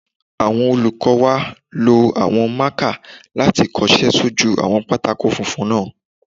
Àwọn olùkọ́ wa lo àwọn máàkà láti kọsẹ́ sójú àwọn pátákó funfun náà